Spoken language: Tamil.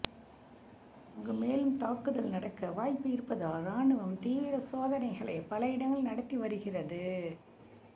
அங்கு மேலும் தாக்குதல் நடக்க வாய்ப்பு இருப்பதால் ராணுவம் தீவிர சோதனைகளை பல இடங்களில் நடத்தி வருகிறது